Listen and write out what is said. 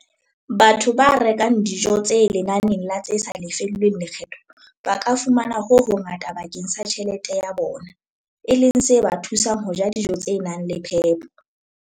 Batho ba rekang dijo tse lenaneng la tse sa lefellweng lekgetho ba ka fumana ho hongata bakeng sa tjhelete ya bona, e leng se ba thusang ho ja dijo tse nang le phepo.